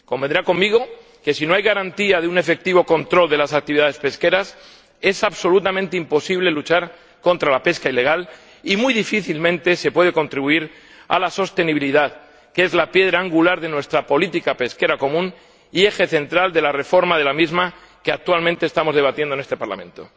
Convendrá conmigo en que si no hay garantía de un efectivo control de las actividades pesqueras, es absolutamente imposible luchar contra la pesca ilegal y muy difícilmente se puede contribuir a la sostenibilidad, que es la piedra angular de nuestra política pesquera común y eje central de la reforma de la misma, que actualmente estamos debatiendo en este Parlamento.